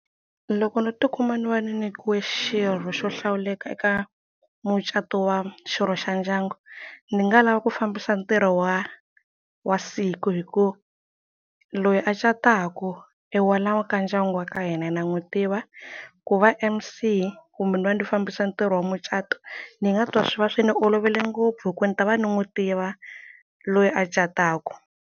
Loko no tikuma ni va ni nikiwe xirho xo hlawuleka eka mucato wa xirho xa ndyangu ni nga lava ku fambisa ntirho wa wa siku hi ku loyi a cataka i wa la ka ndyangu wa ka hina na n'wi tiva ku va M_C kumbe ni va ndi fambisa ntirho wa mucato ni nga twa swi va swi ni olovele ngopfu hi ku ni ta va ni n'wi tiva loyi a cataka.